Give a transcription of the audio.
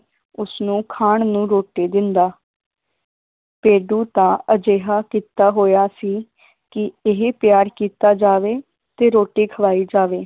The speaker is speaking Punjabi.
ਉਸਨੂੰ ਖਾਣ ਨੂੰ ਰੋਟੀ ਦਿੰਦਾ ਭੇਡੂ ਦਾ ਅਜਿਹਾ ਕੀਤਾ ਹੋਇਆ ਸੀ ਕਿ ਇਹ ਪਿਆਰ ਕੀਤਾ ਜਾਵੇ ਤੇ ਰੋਟੀ ਖਲਾਈ ਜਾਵੇ।